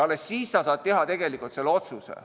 Alles siis saad sa teha otsuse.